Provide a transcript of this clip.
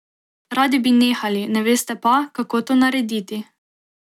Radi bi nehali, ne veste pa, kako to narediti ...